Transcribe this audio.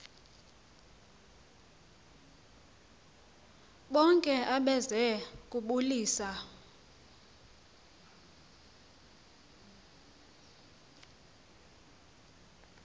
bonke abeze kubulisa